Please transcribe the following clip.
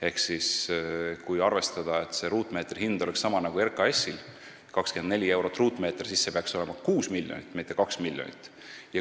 Ehk kui arvestada, et ruutmeetri hind oleks sama nagu RKAS-il, 24 eurot, siis see peaks olema 6 miljonit, mitte 2 miljonit.